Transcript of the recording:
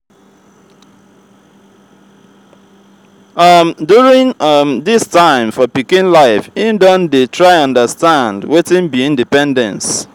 um during um this time for pikin life im don dey try understand wetin be independence